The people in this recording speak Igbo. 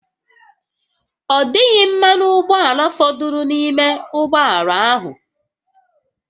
Ọ dịghị mmanụ ụgbọala fọdụrụ n'ime ụgbọ ala ahụ